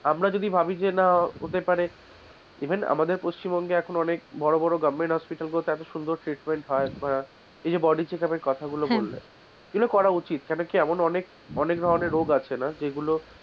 আমরা যদি ভাবি যে না হতে পারে even আমাদের পশ্চিমবঙ্গের অনেক বড় বড় goverment hospital গুলোতে এত সুন্দর treatment হয় আহ এই যে body checkup এর কথাগুলো বললে এগুলো করা উচিত কেন কি এমন অনেক, অনেক ধরনের রোগ আছে না যেগুলো,